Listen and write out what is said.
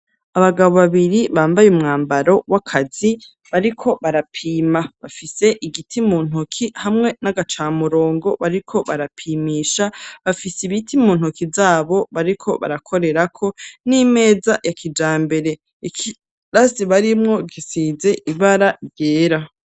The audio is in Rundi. Abagabo babiri, bambaye umwambaro w'akazi, bariko barapima; bafise igiti mu ntoki, hamwe n'agacamurongo bariko barapimisha, bafise ibiti mu ntoki zabo, bariko barakorerako, n'imeza ya kijambere; ikirasi barimwo gisize ibara ryera.